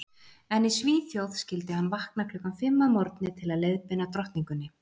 En í Svíþjóð skyldi hann vakna klukkan fimm að morgni til að leiðbeina drottningunni.